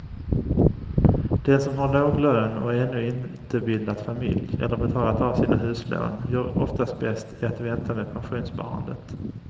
Den som har låg lön och ännu inte bildat familj eller betalat av sina huslån gör oftast bäst i att vänta med pensionssparandet.